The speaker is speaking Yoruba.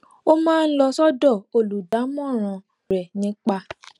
ó máa ń lọ sódò olùdámọràn rè nípa